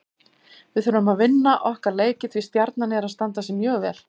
Við þurfum að vinna okkar leiki því Stjarnan er að standa sig mjög vel.